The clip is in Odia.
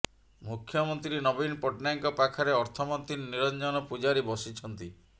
ମୁଖ୍ୟମନ୍ତ୍ରୀ ନବୀନ ପଟ୍ଟନାୟକଙ୍କ ପାଖରେ ଅର୍ଥମନ୍ତ୍ରୀ ନିରଞ୍ଜନ ପୂଜାରୀ ବସିଛନ୍ତି